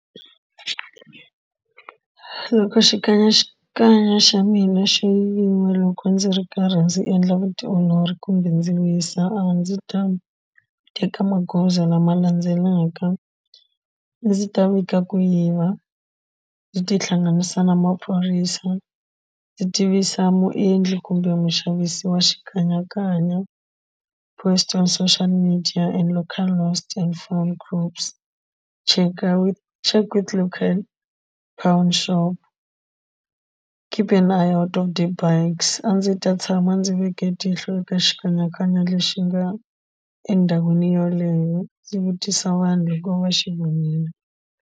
Loko xikanyakanya xa mina xo yiviwa loko ndzi ri karhi ndzi endla vutiolori kumbe ndzi wisa a ndzi ta teka magoza lama landzelaka a ndzi ta vika ku yiva ndzi tihlanganisa na maphorisa ndzi tivisa muendli kumbe muxavisi wa xikanyakanya post on social media and local last and form groups cheka with local shop keep the bikes a ndzi ta tshama ndzi ve ke tihlo eka xikanyakanya lexi nga endhawini yoleyo ndzi vutisa vanhu loko va xi vonile.